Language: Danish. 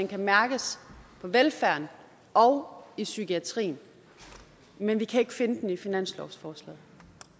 kan mærkes på velfærden og i psykiatrien men vi kan ikke finde den i finanslovsforslaget